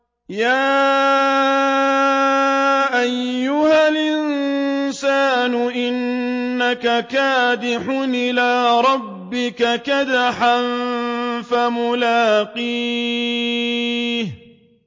يَا أَيُّهَا الْإِنسَانُ إِنَّكَ كَادِحٌ إِلَىٰ رَبِّكَ كَدْحًا فَمُلَاقِيهِ